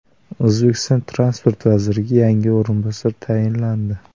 O‘zbekiston transport vaziriga yangi o‘rinbosar tayinlandi.